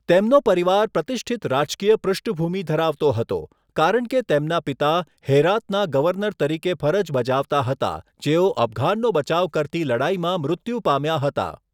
તેમનો પરિવાર પ્રતિષ્ઠિત રાજકીય પૃષ્ઠભૂમિ ધરાવતો હતો, કારણ કે તેમના પિતા હેરાતના ગવર્નર તરીકે ફરજ બજાવતા હતા જેઓ અફઘાનનો બચાવ કરતી લડાઈમાં મૃત્યુ પામ્યા હતા.